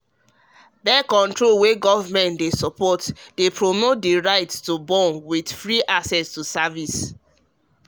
birth-control wey government dey support dey promote the right to born with free access to service honestly